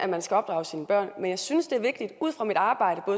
man skal opdrage sine børn men jeg synes ud fra mit arbejde